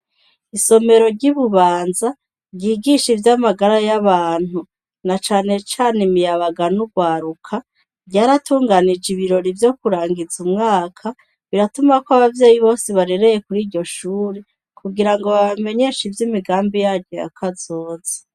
Isomero ry'ibubanza, ryigisha ivy'amagara y'abantu ,na cane cane imiyabaga n'urwaruka, ryaratunganije ibirori vyo kurangiza umwaka ,riratumako ababyeyi bose barereye kur'iryo shuri, kugira ngo babamenyeshe ivy'imigambi yaryo yakazoze.